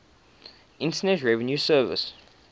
internal revenue service